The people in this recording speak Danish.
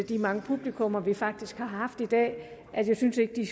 de mange publikummer vi faktisk har haft i dag jeg syntes ikke de